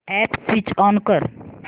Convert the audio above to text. app switch on कर